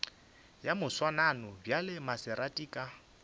ya moswanano bjale maserati ka